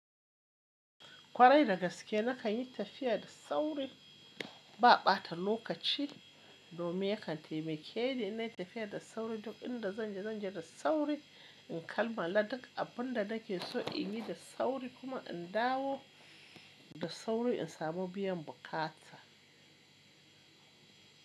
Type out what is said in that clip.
Kwarai da gaske na kan yi tafiya da sauri. Ba ɓata lokaci domin ya kan taimake ni inna yi tafiya da sauri. Duk inda zan je, zan je da sauri. In kalmala duk abin da nake so in yi da sauri kuma in dawo da sauri in samu biyan bukata.